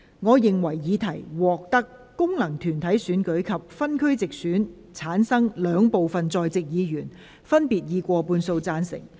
我認為議題獲得經由功能團體選舉產生及分區直接選舉產生的兩部分在席議員，分別以過半數贊成。